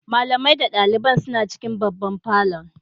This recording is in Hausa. Malamai da dalibai suna cikin babban falon.